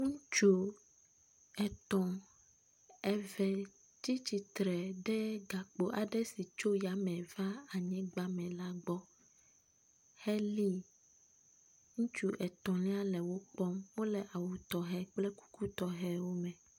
Ŋutsu etɔ̃, eve tsi tsitre ɖe gakpo aɖe si tso yame va anyigba la me la gbɔ heli. Ŋutsu etɔ̃lia le wo kpɔm. Wole awu tɔxɛ kple kuku tɔxɛ me.